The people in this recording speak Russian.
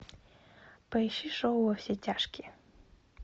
поищи шоу во все тяжкие